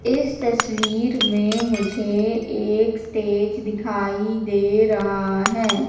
मुझे इस तस्वीर में मुझे एक स्टेज दिखाई दे रहा हैं।